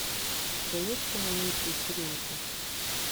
у тебя есть кино миссия серенити